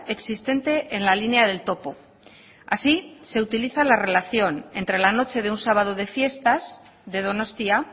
existente en la línea del topo así se utiliza la relación entre la noche de un sábado de fiestas de donostia